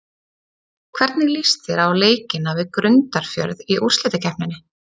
Hvernig líst þér á leikina við Grundarfjörð í úrslitakeppninni?